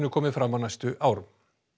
komi fram á næstu árum